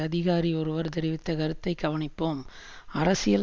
அதிகாரி ஒருவர் தெரிவித்த கருத்தை கவனிப்போம் அரசியல்